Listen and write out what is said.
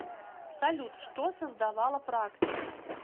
салют что создавала практика